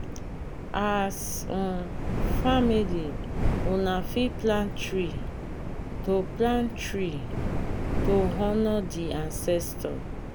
as um family una fit plant tree to plant tree to honor di ancestor